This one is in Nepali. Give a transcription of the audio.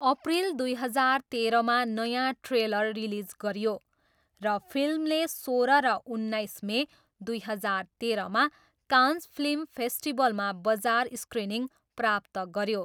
अप्रिल दुई हजार तेरहमा नयाँ ट्रेलर रिलिज गरियो र फिल्मले सोह्र र उन्नाइस मे दुई हजार तेह्रमा कान्स फिल्म फेस्टिभलमा बजार स्क्रिनिङ प्राप्त गऱ्यो।